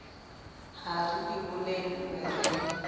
ha re di bolellwe re